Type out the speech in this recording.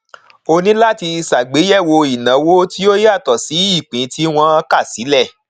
ó ní láti ṣàgbéyèwò ìnáwó tí ó yàtọ sí ìpín tí wọn kà sílẹ